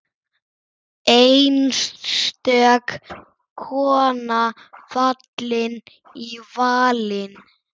Einstök kona fallin í valinn.